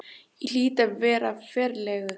Ég hlýt að vera ferlegur.